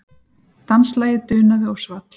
Danslagið dunaði og svall.